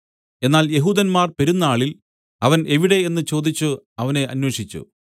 എന്നാൽ യെഹൂദന്മാർ പെരുന്നാളിൽ അവൻ എവിടെ എന്നു ചോദിച്ചു അവനെ അന്വേഷിച്ചു